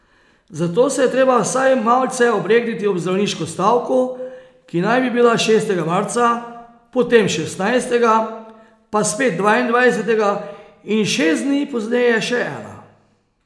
Zato se je treba vsaj malce obregniti ob zdravniško stavko, ki naj bi bila šestega marca, potem šestnajstega, pa spet dvaindvajsetega in šest dni pozneje še ena.